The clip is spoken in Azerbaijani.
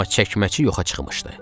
Amma çəkməçi yoxa çıxmışdı.